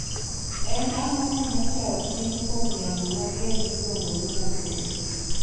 En ang'o ma nyocha otim kuom yamo mager miluongo ni nyakoi.